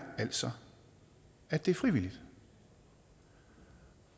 altså at det er frivilligt